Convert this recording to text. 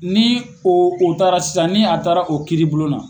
Ni o o taara sisan ni a taara o kiiribulon na